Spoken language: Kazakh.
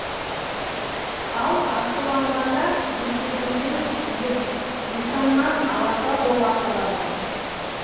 ал ашуланғанда бетегеден биік жусаннан аласа бола қалады